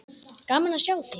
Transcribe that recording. Gaman að sjá þig!